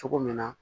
Cogo min na